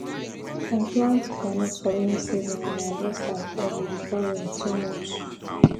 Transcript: i plant groundnut for rainy season and i harvest am early before rain too much